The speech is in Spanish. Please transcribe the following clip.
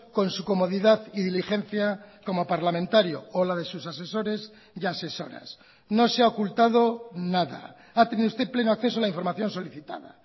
con su comodidad y diligencia como parlamentario o la de sus asesores y asesoras no se ha ocultado nada ha tenido usted pleno acceso a la información solicitada